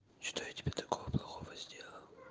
что я тебе такого плохого сделал